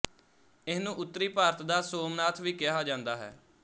ਇਹਨੂੰ ਉੱਤਰੀ ਭਾਰਤ ਦਾ ਸੋਮਨਾਥ ਵੀ ਕਿਹਾ ਜਾਂਦਾ ਹੈ